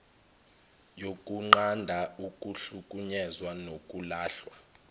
yokunqanda ukuhlukunyezwa nokulahlwa